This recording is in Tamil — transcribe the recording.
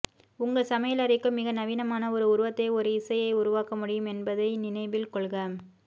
உங்கள் சமையலறைக்கு மிக நவீனமான ஒரு உருவத்தை ஒரு இசையை உருவாக்க முடியும் என்பதை நினைவில் கொள்க